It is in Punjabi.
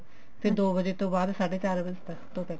ਤੇ ਦੋ ਵਜੇ ਤੋਂ ਬਾਅਦ ਸਾਢੇ ਚਾਰ ਵਜੇ ਤੱਕ